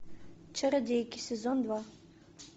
чародейки сезон два